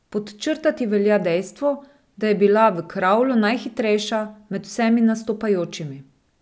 Podčrtati velja dejstvo, da je bila v kravlu najhitrejša med vsemi nastopajočimi.